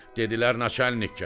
Dedilər naçalnik gəlir.